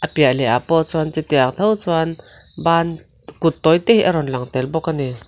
piah leh ah pawh sawn chutiang tho chuan ban kut tawi te a rawn lang tel bawk a ni.